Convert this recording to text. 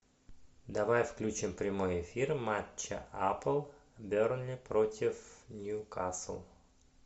давай включим прямой эфир матча апл бернли против ньюкасл